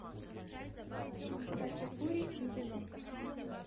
хачапури и вино